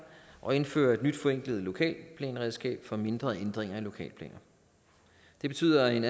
og indfører et nyt forenklet lokalplanredskab for mindre ændringer i lokalplaner det betyder en